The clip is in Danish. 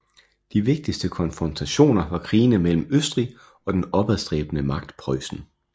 De vigtigste konfrontationer var krigene mellem Østrig og den opadstræbende magt Preussen